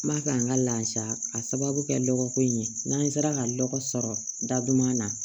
N b'a fɛ an ka laada k'a sababu kɛ lɔgɔ ko in ye n'an sera ka lɔgɔ sɔrɔ daduman na